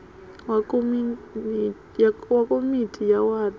wa komiti ya wadi a